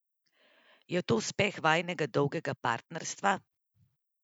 Je to uspeh vajinega dolgega partnerstva?